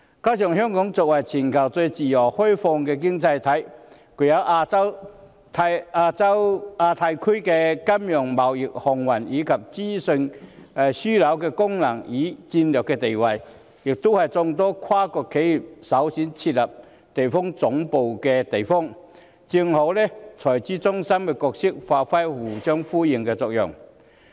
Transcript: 另外，香港作為全球最自由開放的經濟體，具有亞太區金融、貿易、航運，以及資訊樞紐的功能與戰略地位，也是眾多跨國企業設立地區總部的首選地方，這正好和財資中心的角色發揮互相呼應的作用。